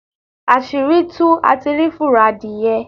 Asiri tuú, á tí rí fúrọ́ adiyẹ.